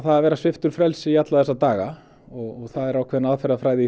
að vera sviptur frelsi í alla þessa daga það er ákveðin aðferðafræði